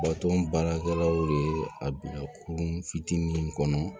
Baton baarakɛlaw de ye a bila kurun fitinin in kɔnɔ